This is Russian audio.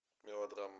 мелодрама